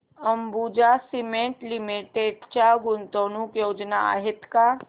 Ambuja cement limited च्या गुंतवणूक योजना आहेत का